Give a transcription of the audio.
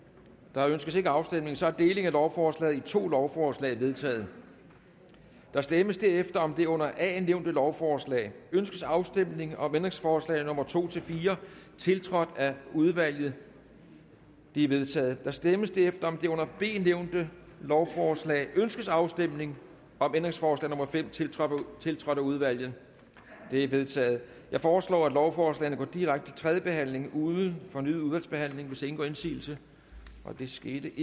der ønskes ikke afstemning så deling af lovforslaget i to lovforslag er vedtaget der stemmes derefter om det under a nævnte lovforslag ønskes afstemning om ændringsforslag nummer to fire tiltrådt af udvalget de er vedtaget der stemmes derefter om det under b nævnte lovforslag ønskes afstemning om ændringsforslag nummer fem tiltrådt tiltrådt af udvalget det er vedtaget jeg foreslår at lovforslagene går direkte til tredje behandling uden fornyet udvalgsbehandling hvis ingen gør indsigelse det skete